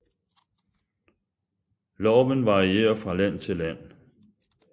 Loven varierer fra land til land